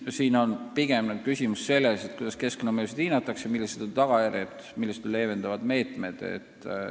Küsimus on praegu, nagu ma ütlesin, eelkõige selles, kuidas keskkonnamõjusid hinnatakse, millised on arvatavad tagajärjed, millised on leevendavad meetmed.